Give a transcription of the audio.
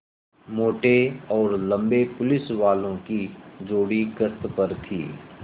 मोटे और लम्बे पुलिसवालों की जोड़ी गश्त पर थी